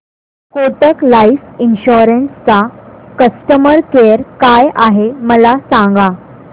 Kotak life insurance चा customer care काय आहे मला सांगा